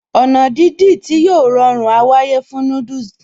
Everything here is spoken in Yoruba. Ọ̀nà dídì tí a yóò rọrùn á wáyé fún noodles